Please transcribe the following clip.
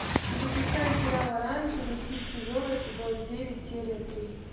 запускай сериал оранжевый хит сезона сезон девять серия три